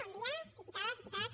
bon dia diputades diputats